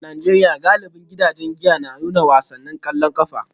A Najeriya, galibin gidajen giya na nuna wasannin kwallon kafa